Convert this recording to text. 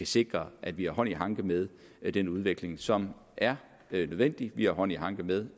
sikre at vi har hånd i hanke med den udvikling som er nødvendig altså at vi har hånd i hanke med